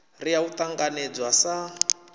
r ya u ṱanganedzwa sa